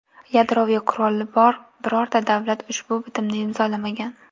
Yadroviy quroli bor birorta davlat ushbu bitimni imzolamagan.